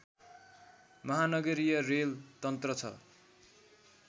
महानगरीय रेल तन्त्र छ